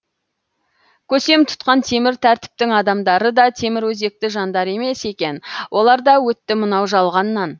көсем тұтқан темір тәртіптің адамдары да темір өзекті жандар емес екен олар да өтті мынау жалғаннан